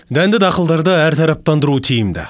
дәнді дақылдарды әртараптандыру тиімді